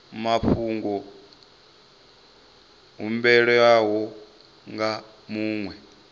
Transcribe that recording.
mafhungo a humbelwaho nga muṅwe